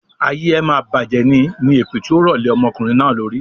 "Ayé ẹ máa bajẹ̀ ní" ni èpè tí ó rọ lè ọmọkùnrin náà lórí.